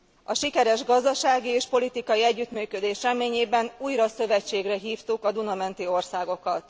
A sikeres gazdasági és politikai együttműködés reményében újra szövetségre hívtuk a Duna menti országokat.